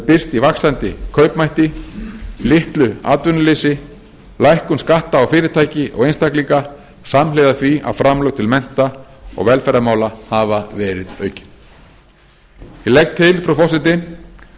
birst í vaxandi kaupmætti litlu atvinnuleysi lækkun skatta á fyrirtæki og einstaklinga samhliða því að framlög til mennta og velferðarmála hafa verið aukin ég legg til frú forseti